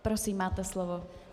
Prosím, máte slovo.